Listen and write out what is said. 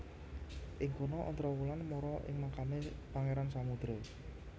Ing kono Ontrowulan mara ing makame Pangeran Samudro